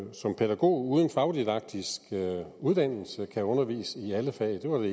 som pædagog uden fagdidaktisk uddannelse kan undervise i alle fag og